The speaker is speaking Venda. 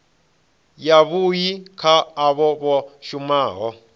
yavhui kha avho vha shumaho